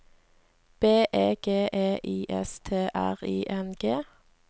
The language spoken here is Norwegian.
B E G E I S T R I N G